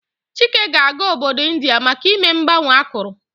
Chike ga-aga obodo India maka ime mgbanwe akụrụ.